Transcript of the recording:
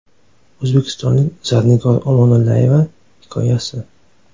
O‘zbekistonlik Zarnigor Omonillayeva hikoyasi.